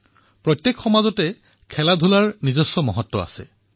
প্ৰত্যেক সমাজতে ক্ৰীড়াৰ মহত্ব অধিক